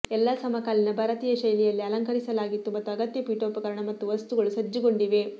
ಎಲ್ಲಾ ಸಮಕಾಲೀನ ಭಾರತೀಯ ಶೈಲಿಯಲ್ಲೇ ಅಲಂಕರಿಸಲಾಗಿತ್ತು ಮತ್ತು ಅಗತ್ಯ ಪೀಠೋಪಕರಣ ಮತ್ತು ವಸ್ತುಗಳು ಸಜ್ಜುಗೊಂಡಿವೆ